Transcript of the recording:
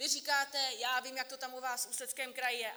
Vy říkáte - já vím, jak to tam u vás v Ústeckém kraji je.